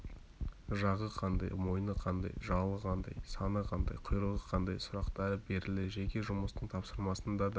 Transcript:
жағы қандай мойны қандай жалы қандай саны қандай құйрығы қандай сұрақтары берілді жеке жұмыстың тапсырмасын да